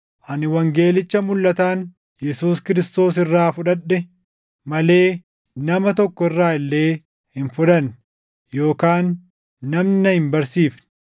Ani wangeelicha mulʼataan Yesuus Kiristoos irraa fudhadhe malee nama tokko irraa illee hin fudhanne; yookaan namni na hin barsiifne.